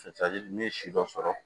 n'i ye si dɔ sɔrɔ